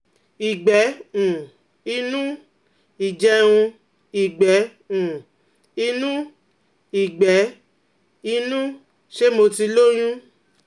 Ìgbẹ́ um inú, ìjẹun, ìgbẹ́ um inú, ìgbẹ́ inú, ṣé mo ti lóyún?